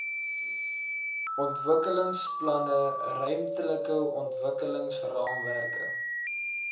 ontwikkelingsplanne ruimtelike ontwikkelingsraamwerke